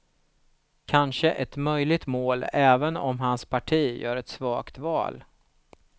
Kanske ett möjligt mål även om hans parti gör ett svagt val.